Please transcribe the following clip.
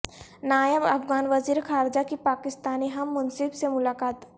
نائب افغان وزیر خارجہ کی پاکستانی ہم منصب سے ملاقات